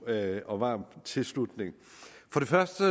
og varm tilslutning for det første